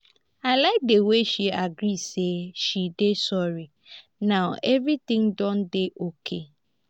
i like the way she agree say she dey sorry now everything don dey okay.